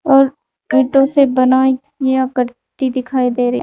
और ईटो से बनी हुई आकृति दिखाई दे रहे--